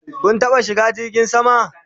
Kun taɓa shiga jirgin sama?